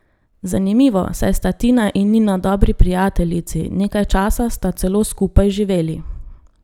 Zanimivo, saj sta Tina in Nina dobri prijateljici, nekaj časa sta celo skupaj živeli.